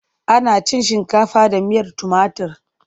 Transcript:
Ana cin shinkafa da miyar tumatir.